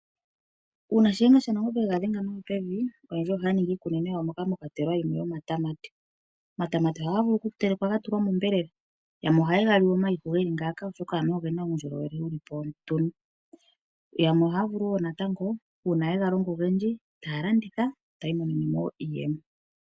Uuna Shiyenga shanangombe yegadhenga nawa pevi oyendji ohaya ningi iikunino yawo moka mwakwatelwa yimwe yomatama. Omatama ohaga vulu okutulwa monyama. Yamwe ohaye gali omayihu oshoka anuwa ogena uundjolowele yoyamwe ohaya vulu woo natango uuna yega longa ogendji etaya landitha etaya imonene mo iiyemo.